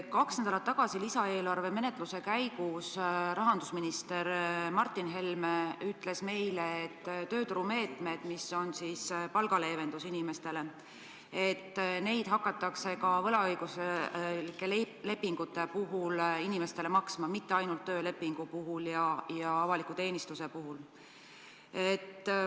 Kaks nädalat tagasi lisaeelarve menetluse käigus rahandusminister Martin Helme ütles meile, et tööturumeetmeid, mis on mõeldud leevendusena inimestele, hakatakse võimaldama ka võlaõiguslike lepingute puhul, mitte ainult töölepingu ja avaliku teenistuse puhul.